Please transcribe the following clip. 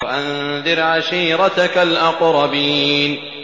وَأَنذِرْ عَشِيرَتَكَ الْأَقْرَبِينَ